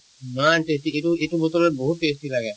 ইমান tasty এইটো এইটো বতৰত বহুত tasty লাগে